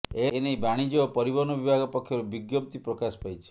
ଏନେଇ ବାଣିଜ୍ୟ ଓ ପରିବହନ ବିଭାଗ ପକ୍ଷରୁ ବିଜ୍ଞପ୍ତି ପ୍ରକାଶ ପାଇଛି